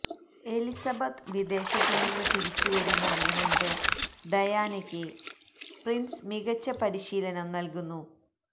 Elizabeth വിദേശത്ത് നിന്ന് തിരിച്ചു വരുന്നതിന് മുന്പ് ഡയാനയ്ക്ക് പ്രിന്സ് മികച്ച പരിശീലനം നല്കുന്നു